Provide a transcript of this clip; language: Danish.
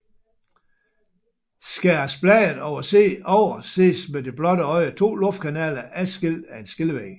Skæres bladet over ses med det blotte øje 2 luftkanaler adskilt af en skillevæg